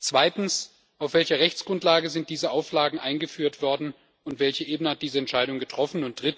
Zweitens Auf welcher Rechtsgrundlage sind diese Auflagen eingeführt worden, und welche Ebene hat diese Entscheidung getroffen?